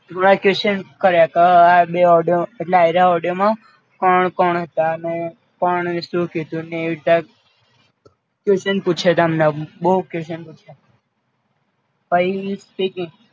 થોડા Question કર્યા ક આ બે ઓડિયો આરીયા આ ઓડિયોમાં કોણ કોણ હતા ને કોને શું કીધું ને એવી રીતે Question પૂછયત અમને બઉ Question પૂછ્યા.